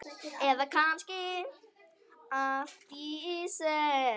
Eða kannski allt í senn?